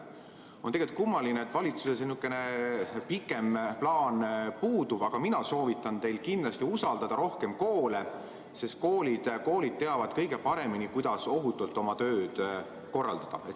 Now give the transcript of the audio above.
On kummaline, et valitsusel sihukene pikem plaan puudub, aga mina soovitan teil kindlasti usaldada rohkem koole, sest koolid teavad kõige paremini, kuidas ohutult oma tööd korraldada.